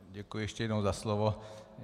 Děkuji ještě jednou za slovo.